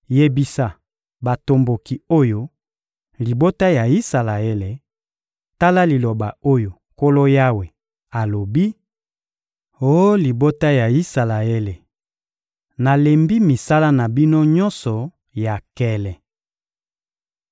Yebisa batomboki oyo, libota ya Isalaele: ‹Tala liloba oyo Nkolo Yawe alobi: Oh libota ya Isalaele, nalembi misala na bino nyonso ya nkele!